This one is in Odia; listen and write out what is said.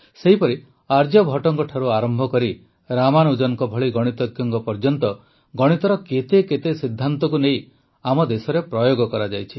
ସେହିପରି ଆର୍ଯ୍ୟଭଟ୍ଟଙ୍କଠାରୁ ଆରମ୍ଭ କରି ରାମାନୁଜନଙ୍କ ଭଳି ଗଣିତଜ୍ଞଙ୍କ ଯାଏଁ ଗଣିତର କେତେ କେତେ ସିଦ୍ଧାନ୍ତକୁ ନେଇ ଆମ ଦେଶରେ ପ୍ରୟୋଗ କରାଯାଇଛି